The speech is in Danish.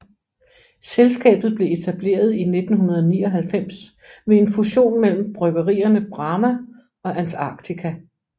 Selskabet blev etableret i 1999 ved en fusion mellem bryggerierne Brahma og Antarctica